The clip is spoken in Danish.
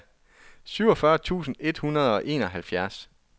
syvogfyrre tusind et hundrede og enoghalvfjerds